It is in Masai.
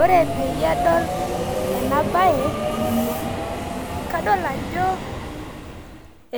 Ore peyie adol ena baye kadol ajo